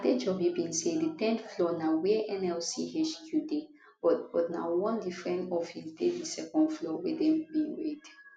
adejobi bin say di ten th floor na wia nlc hq dey but but na one different office dey di second floor wia dem bin raid